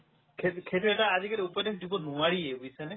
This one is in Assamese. সেইটো~ সেইটো এটা আজিকালিৰ যুগত নোৱাৰিয়ে বুজিছানে